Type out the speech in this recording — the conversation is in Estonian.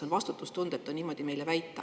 On vastutustundetu meile väita.